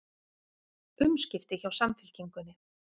Umskipti hjá Samfylkingunni